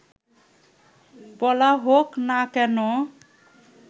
বলা হোক না কেন